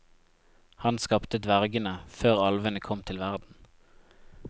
Han skapte dvergene, før alvene kom til verden.